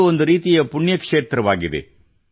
ಅದು ಒಂದು ರೀತಿಯ ಪುಣ್ಯಕ್ಷೇತ್ರವಾಗಿದೆ